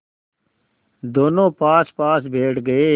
दोेनों पासपास बैठ गए